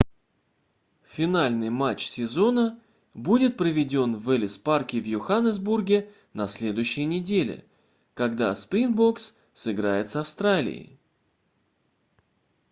финальный матч сезона будет проведён в эллис парке в йоханесбурге на следующей неделе когда springboks сыграет с австралией